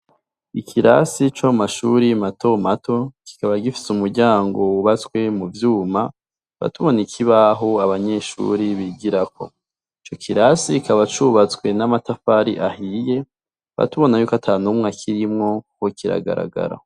Ikirasi co mu mashure mato mato, kikaba gifise umuryango ukozwe muvyuma ,tukaba tubona ikibaho abanyeshure bigirako, ico kirasi kikaba cubatswe n'amatafari ahiye, tukaba tubona yuko ata numwe akirimwo kiragaragara.